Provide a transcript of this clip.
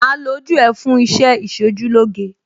Màá lo ojú ẹ fún iṣẹ́ Ìṣojúlóge.